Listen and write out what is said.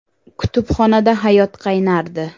Kutubxonada hayot qaynardi.